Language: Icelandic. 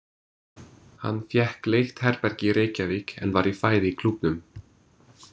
Hann fékk leigt herbergi í Reykjavík en var í fæði í Klúbbnum.